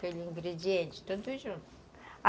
Pelos ingredientes, tudo junto.